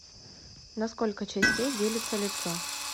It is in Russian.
на сколько частей делится лицо